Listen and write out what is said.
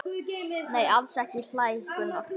Nei, alls ekki hlær Gunnar.